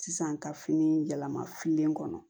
Sisan ka fini yɛlɛma filen kɔnɔ